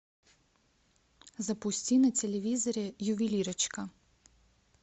запусти на телевизоре ювелирочка